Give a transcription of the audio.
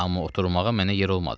Amma oturmağa mənə yer olmadı.